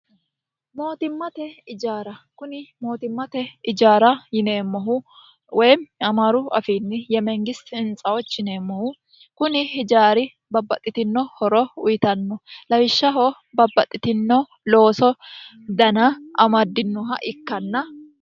mootimmate ijaara kuni mootimmate ijaara yineemmohu woy amaaru afiinni yemengisi hintsaochi yineemmohu kuni ijaari babbaxxitino horo uyitanno lawishshaho babbaxxitino looso dana amaddinoha ikkanna